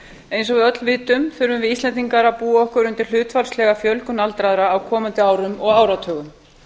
við öll vitum þurfum við íslendingar að búa okkur undir hlutfallslega fjölgun aldraðra á komandi árum og áratugum